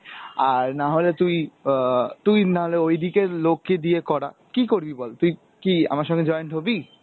আর না হলে তুই অ্যাঁ তুই নালে ওই দিকের লোককে দিয়ে করা. কী করবি বল, তুই কি আমার সাথে join হবি?